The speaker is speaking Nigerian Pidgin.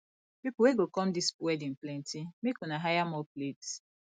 people wey go come dis wedding plenty make una hire more plates